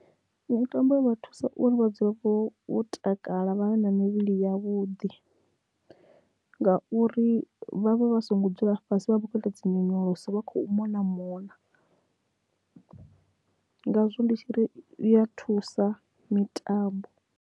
Mitambo i vha thusa uri vha dzule vho vho takala vha vhe na mivhili ya vhuḓi ngauri vhavha vha songo dzula fhasi vha vha khou ita dzi nyonyoloso vha khou mona mona ngazwo ndi tshi ri i ya thusa mitambo.